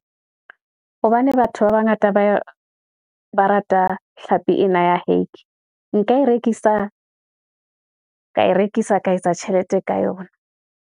Hobane batho ba bangata ba ba rata hlapi ena ya hake, nka e rekisa ka e rekisa, ka etsa tjhelete ka yona.